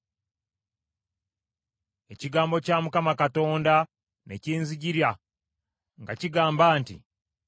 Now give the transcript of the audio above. Ekigambo kya Mukama Katonda ne kinzijira nga kigamba nti,